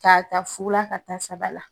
Ta fu la ka taa saba la.